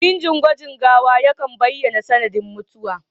Gwajin binciken gawa yakan baiyana sanadin mutuwa